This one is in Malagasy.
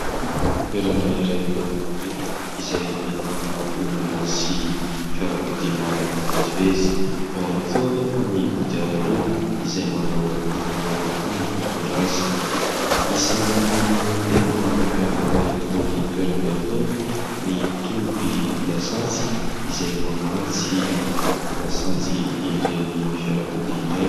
Toerana iray eny an-dalambe izay ahitana olona sy fiarakodia maro mifamezivezy, eo ihany koa anefa ny kodiaran-droa izay manao aro loha avokoa ny mpitondra azy. Isan'ny tena mampiavaka itony toerana itony ny tobi-dasantsy izay mamatsy lasantsy ireny fiarakodia ireny.